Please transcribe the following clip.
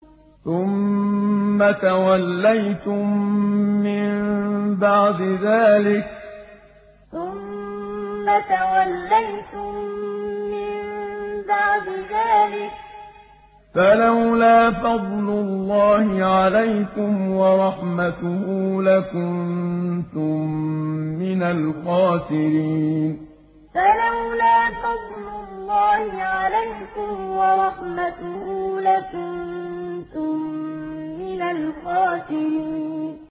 ثُمَّ تَوَلَّيْتُم مِّن بَعْدِ ذَٰلِكَ ۖ فَلَوْلَا فَضْلُ اللَّهِ عَلَيْكُمْ وَرَحْمَتُهُ لَكُنتُم مِّنَ الْخَاسِرِينَ ثُمَّ تَوَلَّيْتُم مِّن بَعْدِ ذَٰلِكَ ۖ فَلَوْلَا فَضْلُ اللَّهِ عَلَيْكُمْ وَرَحْمَتُهُ لَكُنتُم مِّنَ الْخَاسِرِينَ